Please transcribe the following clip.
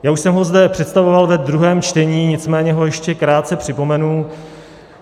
Já už jsem ho zde představoval ve druhém čtení, nicméně ho ještě krátce připomenu.